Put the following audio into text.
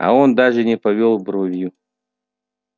а он даже не повёл бровью